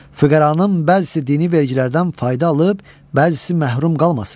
Füqəranın bəzisi dini vergilərdən fayda alıb, bəzisi məhrum qalmasın.